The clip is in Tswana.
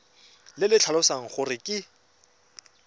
le le tlhalosang gore ke